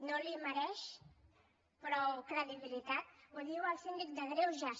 no li mereix prou credibilitat ho diu el síndic de greuges